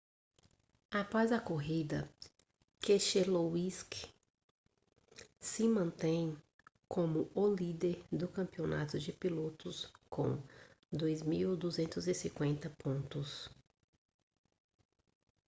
após a corrida keselowski se mantém como o líder do campeonato de pilotos com 2.250 pontos